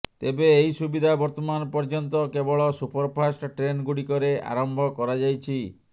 ତେବେ ଏହି ସୁବିଧା ବର୍ତ୍ତମାନ ପର୍ୟ୍ୟନ୍ତ କେବଳ ସୁପରଫାଷ୍ଟ ଟ୍ରେନ୍ ଗୁଡ଼ିକରେ ଆରମ୍ଭ କରାଯାଇଛି